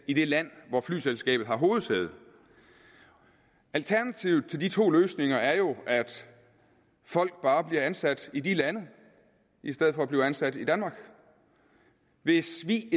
i det land hvor flyselskabet har hovedsæde alternativet til de to løsninger er jo at folk bare bliver ansat i de lande i stedet for at blive ansat i danmark hvis vi i